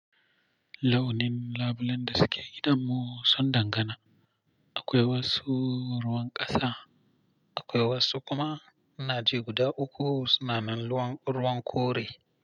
Launin labulen da suke idan mu sun dangana. Akwai wasu ruwan ƙasa, akwai wasu kuma ana ce guda uku suna nan ruwan kore.